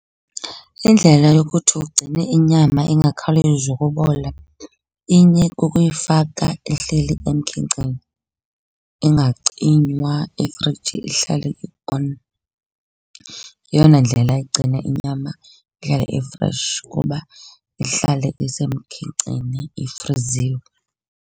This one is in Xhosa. Indlela yokuthi ugcine inyama ingakhawulezi ukubola inye kukuyifaka ihleli emkhenkceni, ingacinywa ifriji ihlale i-on. Yeyona ndlela igcina inyama ihlale i-fresh ukuba ihlale isemkhenkceni ifriziwe.